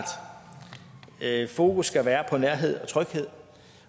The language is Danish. fokus skal være på nærhed og tryghed